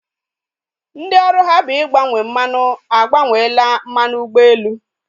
Ndị ọrụ ha bụ igbanye mmanụ agbanyela mmanụ ụgbọelu